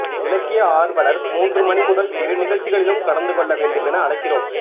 இலக்கிய ஆர்வலர் மூன்று மணிமுதல் இரு நிகழ்ச்சிகளிலும் கலந்துகொள்ளவேண்டும் என அழைக்கிறோம்